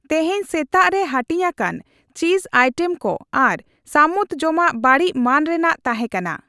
ᱛᱮᱦᱮᱧ ᱥᱮᱛᱟᱜ ᱨᱮ ᱦᱟᱹᱴᱤᱧᱟᱠᱟᱱ ᱪᱤᱡ ᱟᱭᱴᱮᱢ ᱠᱚ ᱟᱨ ᱥᱟᱹᱢᱩᱫ ᱡᱚᱢᱟᱜ ᱵᱟᱹᱲᱤᱡ ᱢᱟᱹᱱ ᱨᱮᱭᱟᱜ ᱛᱟᱦᱮᱸᱠᱟᱱᱟ ᱾